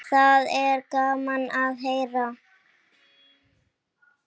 Það er gaman að heyra.